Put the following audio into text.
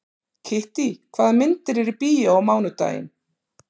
Kittý, hvaða myndir eru í bíó á mánudaginn?